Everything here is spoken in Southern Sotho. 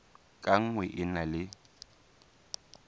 ka nngwe e na le